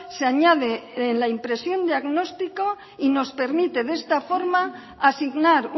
se añade la impresión diagnóstico y nos permite de esta forma asignar